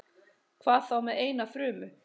Hvað þá með eina frumu?